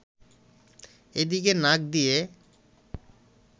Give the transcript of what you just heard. এদিকে নাক দিয়ে